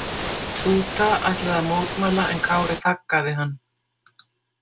Túta ætlaði að mótmæla en Kári þaggaði hann.